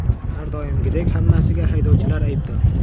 Har doimgidek hammasiga haydovchilar aybdor.